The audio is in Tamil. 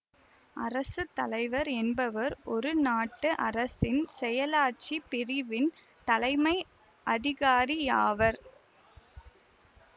அரசு தலைவர் என்பவர் ஒரு நாட்டு அரசின் செயலாட்சிப் பிரிவின் தலைமை அதிகாரி ஆவர்